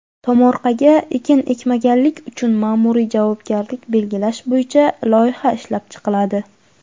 Tomorqaga ekin ekmaganlik uchun maʼmuriy javobgarlik belgilash bo‘yicha loyiha ishlab chiqiladi.